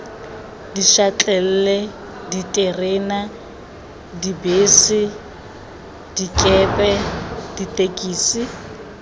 dišatlelle diterena dibese dikepe ditekisi